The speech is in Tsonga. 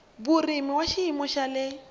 vurimi wa xiyimo xa le